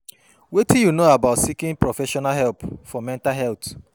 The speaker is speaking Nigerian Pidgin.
Wetin you know about seeking for professional help for mental health?